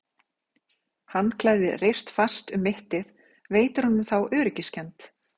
Handklæði reyrt fast um mittið veitir honum þá öryggiskennd.